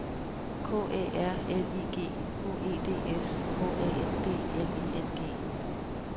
K Æ R L I G H E D S H A N D L I N G